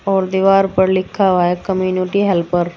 और दीवार पर लिखा हुआ है कम्युनिटी हेल्पर ।